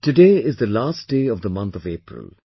Today is the last day of month of April